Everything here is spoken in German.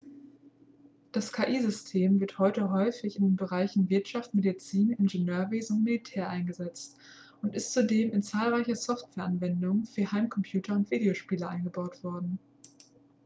das ki-system wird heute häufig in den bereichen wirtschaft medizin ingenieurwesen und militär eingesetzt und ist zudem in zahlreiche softwareanwendungen für heimcomputer und videospiele eingebaut worden